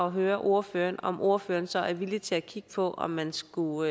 at høre ordføreren om ordføreren så er villig til at kigge på om man skulle